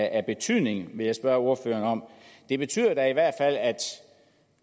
af betydning vil jeg spørge ordføreren det betyder da i hvert fald at